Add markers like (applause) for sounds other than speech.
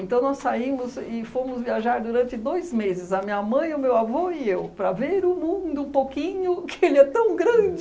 Então nós saímos e fomos viajar durante dois meses, a minha mãe, o meu avô e eu, para ver o mundo um pouquinho, (laughs) porque ele é tão grande.